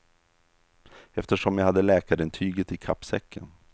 Eftersom jag hade läkarintyget i kappsäcken.